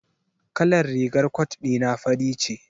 Kalar rigar cot dina fari ce.